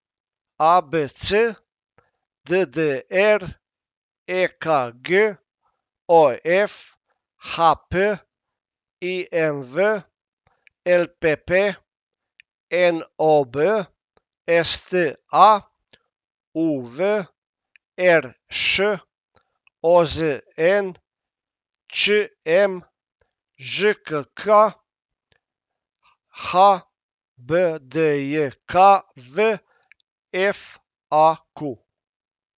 A B C; D D R; E K G; O F; H P; I M V; L P P; N O B; S T A; U V; R Š; O Z N; Č M; Ž K K; H B D J K V; F A Q.